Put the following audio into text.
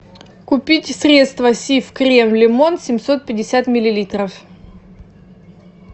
купить средство сиф крем лимон семьсот пятьдесят миллилитров